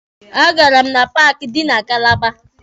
A gara m na paaki dị na Kalaba.